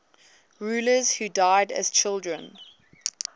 rulers who died as children